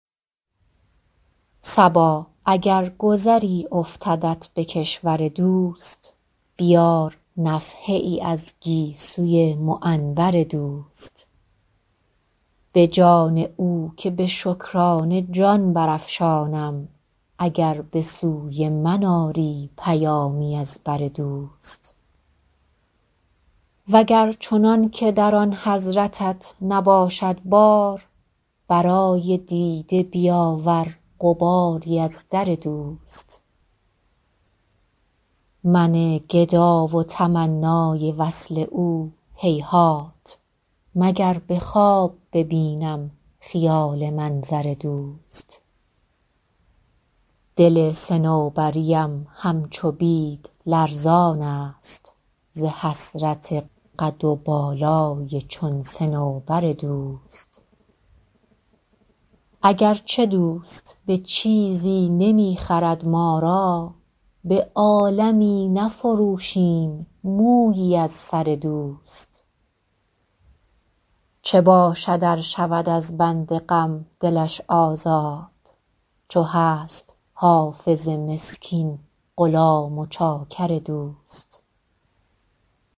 صبا اگر گذری افتدت به کشور دوست بیار نفحه ای از گیسوی معنبر دوست به جان او که به شکرانه جان برافشانم اگر به سوی من آری پیامی از بر دوست و گر چنان که در آن حضرتت نباشد بار برای دیده بیاور غباری از در دوست من گدا و تمنای وصل او هیهات مگر به خواب ببینم خیال منظر دوست دل صنوبری ام همچو بید لرزان است ز حسرت قد و بالای چون صنوبر دوست اگر چه دوست به چیزی نمی خرد ما را به عالمی نفروشیم مویی از سر دوست چه باشد ار شود از بند غم دلش آزاد چو هست حافظ مسکین غلام و چاکر دوست